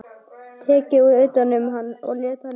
Tekið utan um hann og leitt hann í rúmið.